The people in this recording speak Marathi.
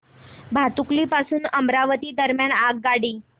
भातुकली पासून अमरावती दरम्यान आगगाडी